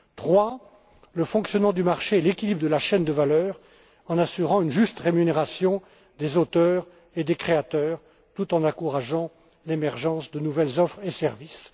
Troisièmement, le fonctionnement du marché et l'équilibre de la chaîne de valeur, en assurant une juste rémunération des auteurs et des créateurs, tout en encourageant l'émergence de nouvelles offres et de nouveaux services.